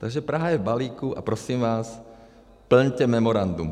Takže Praha je v balíku a prosím vás, plňte memorandum.